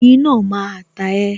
Oyin náà máa ta e